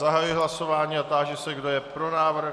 Zahajuji hlasování a táži se, kdo je pro návrh.